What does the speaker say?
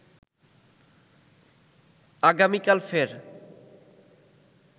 আগামীকাল ফের